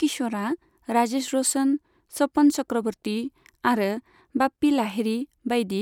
किश'रआ राजेश र'शन, सपन चक्रवर्ती आरो बाप्पी लाहिड़ी बाइदि